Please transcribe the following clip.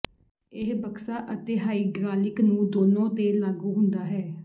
ਇਹ ਬਕਸਾ ਅਤੇ ਹਾਈਡਰਾਲਿਕ ਨੂੰ ਦੋਨੋ ਤੇ ਲਾਗੂ ਹੁੰਦਾ ਹੈ